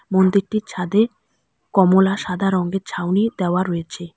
মন্দিরটির ছাদে কমলা সাদা রঙ্গের ছাউনি দেওয়া রয়েছে।